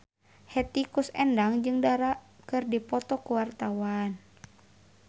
Hetty Koes Endang jeung Dara keur dipoto ku wartawan